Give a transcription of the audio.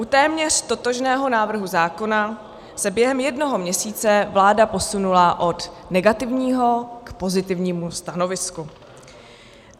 U téměř totožného návrhu zákona se během jednoho měsíce vláda posunula od negativního k pozitivnímu stanovisku.